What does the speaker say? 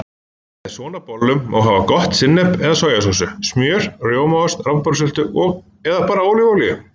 Með svona bollum má hafa gott sinnep eða sojasósu, smjör, rjómaost, rabarbarasultu eða bara ólífuolíu.